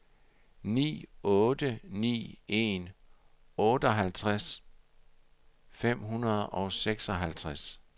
ni otte ni en otteoghalvtreds fem hundrede og seksoghalvtreds